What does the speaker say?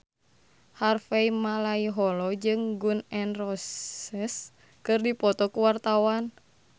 Harvey Malaiholo jeung Gun N Roses keur dipoto ku wartawan